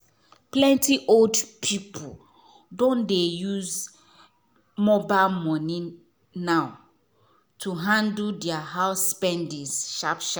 plenty old people don dey use mobile money now to handle their house spendings sharp sharp.